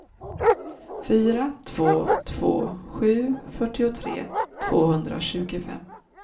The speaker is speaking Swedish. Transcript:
fyra två två sju fyrtiotre tvåhundratjugofem